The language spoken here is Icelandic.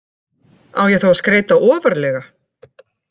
Á ég þá að skreyta ofarlega?